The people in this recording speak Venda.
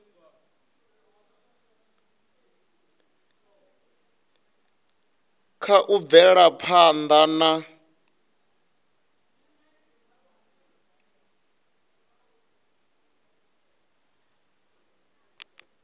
kha u bvela phanḓa na